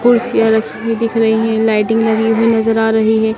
कुर्सियां रखी हुई दिख रही हैं लाइटिंग लगी हुई नजर आ रही हैं।